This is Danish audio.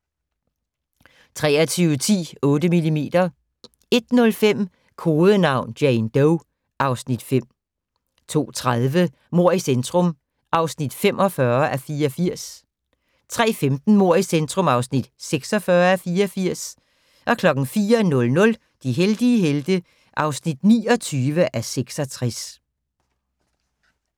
23:10: 8mm 01:05: Kodenavn: Jane Doe (Afs. 5) 02:30: Mord i centrum (45:84) 03:15: Mord i centrum (46:84) 04:00: De heldige helte (29:66)